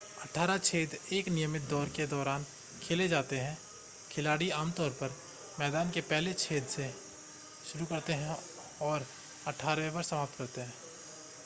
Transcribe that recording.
अठारह छेद एक नियमित दौर के दौरान खेले जाते हैं खिलाड़ी आमतौर पर मैदान के पहले छेद से शुरू करते हैं और अठारहवें पर समाप्त करते हैं